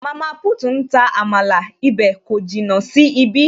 Mama put ń ta amala, ibè kò jìnnà sí ibí